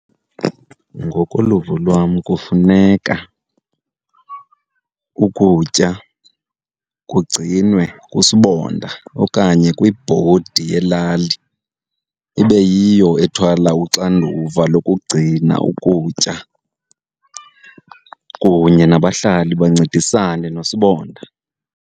Ngokoluvo lwam, kufuneka ukutya kugcinwe kusibonda okanye kwibhodi yelali. Ibe yiyo ethwala uxanduva lokugcina ukutya kunye nabahlali bancedisane nosibonda.